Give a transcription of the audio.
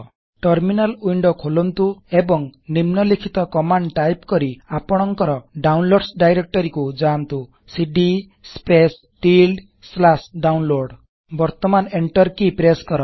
terminal window ଖୋଲନ୍ତୁ ଏବଂ ନିମ୍ନଲିଖିତ କମାଣ୍ଡ ଟାଇପ୍ କରି ଆପଣକଂର ଡାଉନଲୋଡ୍ସ ଡାଇରେକ୍ଟରୀକୁ ଯାଆନ୍ତୁ160cd Downloads ସିଡି ସ୍ପେସେ ଟିଲ୍ଡି ସ୍ଲାଶ୍ ଡାଉନଲୋଡ ବର୍ତମାନ ଏଣ୍ଟର କି ପ୍ରେସ୍ସ୍ କର